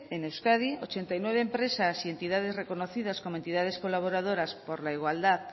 en euskadi ochenta y nueve empresas y entidades reconocidas como entidades colaboradoras por la igualdad